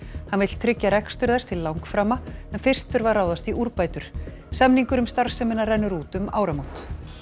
hann vill tryggja rekstur þess til langframa en fyrst þurfi að ráðast í úrbætur samningur um starfsemina rennur út um áramót